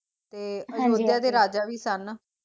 ਤੇ ਅਯੋਦਯਾ ਦੇ ਰਾਜਾ ਵੀ ਸਨ